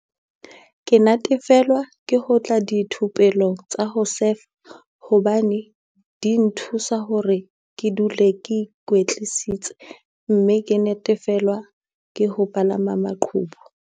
"Ke natefelwa ke ho tla dithupelong tsa ho sefa hobane di nthusa hore ke dule ke ikwetlisitse mme ke natefelwa ke ho palama maqhubu."